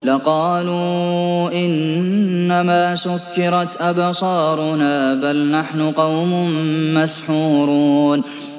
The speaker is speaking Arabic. لَقَالُوا إِنَّمَا سُكِّرَتْ أَبْصَارُنَا بَلْ نَحْنُ قَوْمٌ مَّسْحُورُونَ